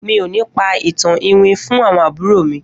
Mi ò ní pa ìtàn iwin fún àwọn àbúrò mi